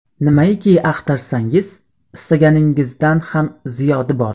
Nimaiki axtarsangiz, istaganingizdan ham ziyodi bor.